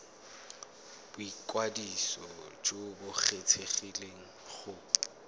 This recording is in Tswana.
boikwadiso jo bo kgethegileng go